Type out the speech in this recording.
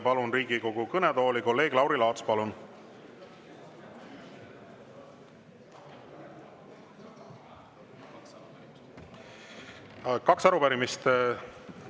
Palun Riigikogu kõnetooli kolleeg Lauri Laatsi, kellel on kaks arupärimist.